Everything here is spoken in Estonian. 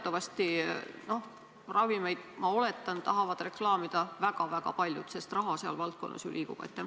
Teatavasti ravimeid, ma oletan, tahavad reklaamida väga-väga paljud, sest raha seal valdkonnas ju liigub.